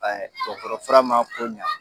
Ɛɛ dɔgɔtɔrɔ fura ma ko ɲɛ